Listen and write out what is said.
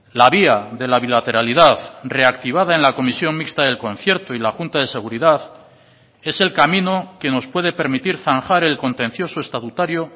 la vía de la bilateralidad reactivada en la comisión mixta del concierto y la junta de seguridad es el camino que nos puede permitir zanjar el contencioso estatutario